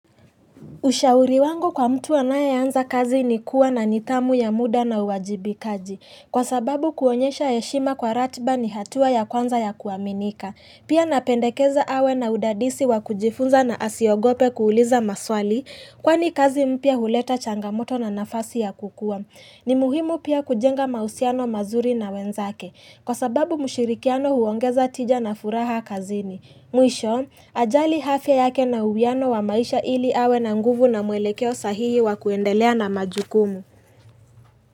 Ushauri wangu kwa mtu anayeanza kazi ni kuwa na nidhamu ya muda na uwajibikaji. Kwa sababu kuonyesha heshima kwa ratiba ni hatua ya kwanza ya kuaminika. Pia napendekeza awe na udadisi wa kujifunza na asiogope kuuliza maswali. Kwani kazi mpia huleta changamoto na nafasi ya kukua. Ni muhimu pia kujenga mahusiano mazuri na wenzake. Kwa sababu mshirikiano huongeza tija na furaha kazini. Mwisho, ajali hafya yake na uwiano wa maisha ili awe na nguvu na mwelekeo sahihi wa kuendelea na majukumu.